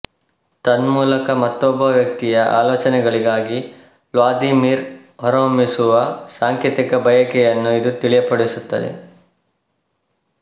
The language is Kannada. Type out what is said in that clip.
ತನ್ಮೂಲಕ ಮತ್ತೊಬ್ಬ ವ್ಯಕ್ತಿಯ ಆಲೋಚನೆಗಳಿಗಾಗಿ ವ್ಲಾದಿಮಿರ್ ಹೊರಹೊಮ್ಮಿಸುವ ಸಾಂಕೇತಿಕ ಬಯಕೆಯನ್ನು ಇದು ತಿಳಿಯಪಡಿಸುತ್ತದೆ